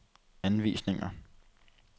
anvisninger